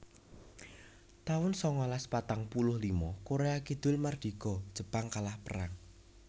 taun sangalas patang puluh lima Korea Kidul mardika Jepang kalah perang